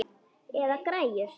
Eða græjur.